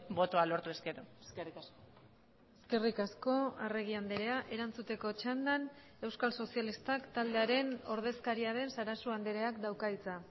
botoa lortu ezkero eskerrik asko eskerrik asko arregi andrea erantzuteko txandan euskal sozialistak taldearen ordezkaria den sarasua andreak dauka hitza